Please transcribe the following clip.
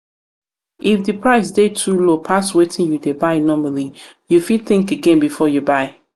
if di price dey too low pass wetin you dey buy normally you fit think again before you buy